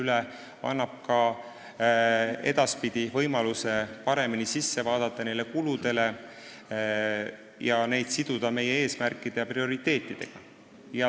See annab ka edaspidi võimaluse neid kulusid paremini vaadata ning siduda neid meie eesmärkide ja prioriteetidega.